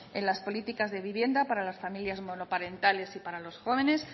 en las políticas de vivienda para las familias monoparentales y para los jóvenes